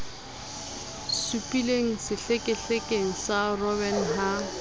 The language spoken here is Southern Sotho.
supileng sehlekehlekeng sa robben ha